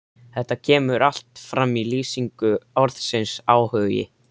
Þetta kemur allt fram í lýsingu orðsins áhugi: